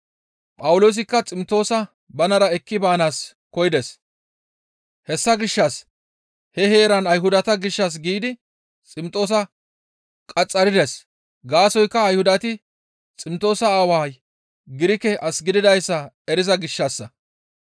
Phawuloosikka Ximtoosa banara ekki baanaas koyides; hessa gishshas he heeran Ayhudata gishshas giidi Ximtoosa qaxxarides; gaasoykka Ayhudati Ximtoosa aaway Girike as gididayssa eriza gishshassa.